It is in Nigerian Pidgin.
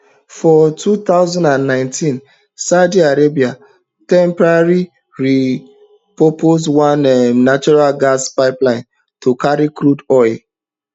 for two thousand and nineteen saudi arabia temporarily repurpose one um natural gas pipeline to carry crude oil